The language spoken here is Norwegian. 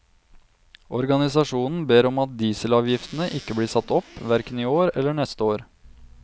Organisasjonen ber om at dieselavgiftene ikke blir satt opp, hverken i år eller neste år.